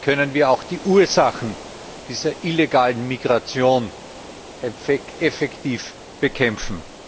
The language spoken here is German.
Wie können wir auch die Ursachen dieser illegalen Migration effektiv bekämpfen?